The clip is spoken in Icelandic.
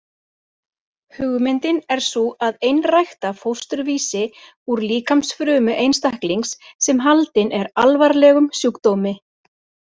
Hugmyndin er sú að einrækta fósturvísi úr líkamsfrumu einstaklings sem haldinn er alvarlegum sjúkdómi.